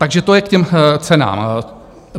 Takže to je k těm cenám.